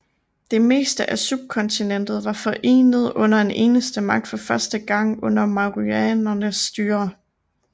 Det meste af subkontinentet var forenet under en eneste magt for første gang under mauryanernes styre